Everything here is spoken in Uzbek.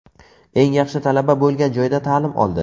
Eng yaxshi talaba bo‘lgan joyda ta’lim oldi.